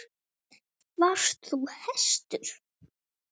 Varst þú kannski hæstur?